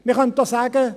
Man könnte auch sagen: